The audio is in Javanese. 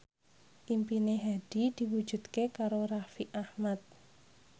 impine Hadi diwujudke karo Raffi Ahmad